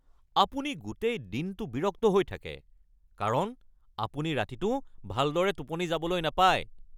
আপুনি গোটেই দিনটো বিৰক্ত হৈ থাকে কাৰণ আপুনি ৰাতিটো ভালদৰে টোপনি যাবলৈ নাপায়।